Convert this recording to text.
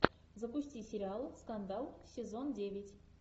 запусти сериал скандал сезон девять